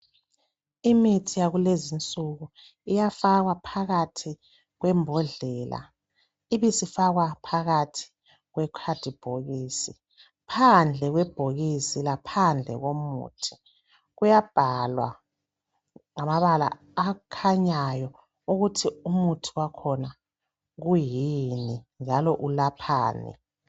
Imithi yakulezinsuku iyafakwa phakathi kwembodlela ibisifakwa phakathi kwe khadibhokisi. Phandle kwebhokisi laphandle komuthi kuyabhalwa ngamabala akhanyayo ukuthi umuthi wakhona kuyini njalo ulaphani.